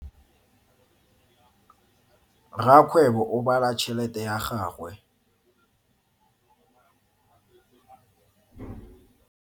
Rakgwebo o bala tšhelete ya gagwe.